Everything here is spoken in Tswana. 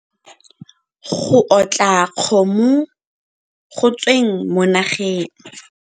Go otla kgomo go tsweng mo nageng.